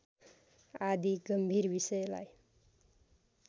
आदि गम्भीर विषयलाई